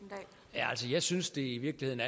altså jeg synes i virkeligheden